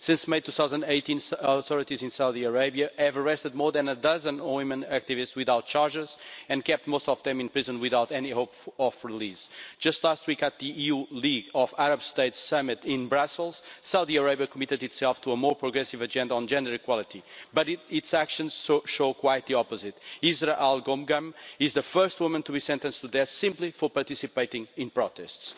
Since May 2018, the authorities in Saudi Arabia have arrested more than a dozen women activists without charge and kept most of them in prison without any hope of release. Just last week, at the EU-League of Arab States Summit in Brussels, Saudi Arabia committed itself to a more progressive agenda on gender equality, but its actions show quite the opposite. Israa al Ghomgham is the first woman to be sentenced to death simply for participating in protests.